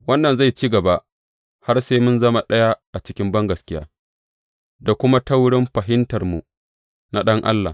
Wannan zai ci gaba har sai mun zama ɗaya a cikin bangaskiya da kuma ta wurin fahimtarmu na Ɗan Allah.